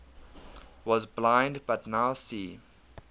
was blind but now see